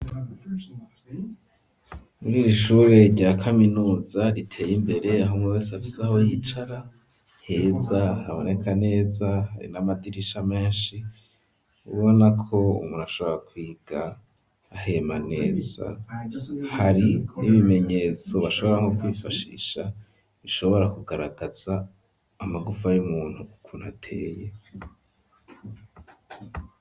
Muri iri ishure rya kaminuza riteye imbere, aho umwe wese afise aho yicara heza, haboneka neza, hari n'amatirisha menshi ubona ko umuntu, ashobora kwiga ahema neza; hari n'ibimenyetso bashobora nko kwifashisha, bishobora kugaragaza amagufa y'umuntu ukuntu ateye.